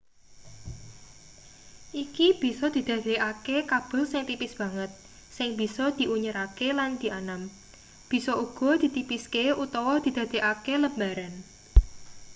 iki bisa didadekake kabel sing tipis banget sing bisa diunyerake lan dianam bisa uga ditipiske utawa didadekake lembaran